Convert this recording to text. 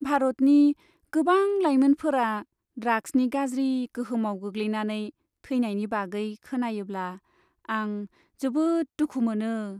भारतनि गोबां लायमोनफोरा ड्राग्सनि गाज्रि गोहोमाव गोग्लैनायनै थैनायनि बागै खोनायोब्ला आं जोबोद दुखु मोनो।